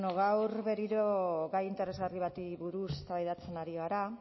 gaur berriro gai interesgarri bati buruz eztabaidatzen ari gara